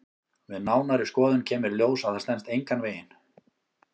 Við nánari skoðun kemur í ljós að það stenst engan veginn.